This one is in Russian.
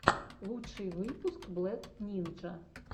лучший выпуск блэк нинджа